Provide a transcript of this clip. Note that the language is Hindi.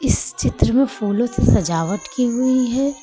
इस चित्र में फूलों से सजावट की हुई है।